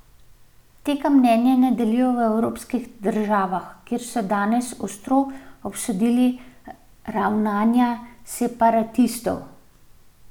Tega mnenja ne delijo v evropskih državah, kjer so danes ostro obsodili ravnanje separatistov.